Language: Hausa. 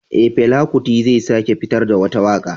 Eh, Fela kuti zai sake fitar da wata waka